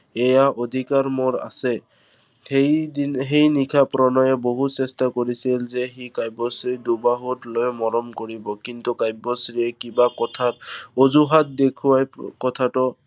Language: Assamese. এইয়া অধিকাৰ মোৰ আছে। সেই দিন, সেই নিশা প্ৰণয়ে বহু চেষ্টা কৰিছিল যে সি কাব্যশ্ৰীক দুবাহুত লৈ মৰম কৰিব। কিন্তু কাব্যশ্ৰীয়ে কিবা কথাত অঁজুহাত দেখুৱাই কথাটো